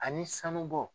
Ani sanubɔ